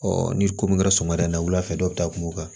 ni ko min kɛra sɔmida in na wulafɛ dɔ bɛ taa kuma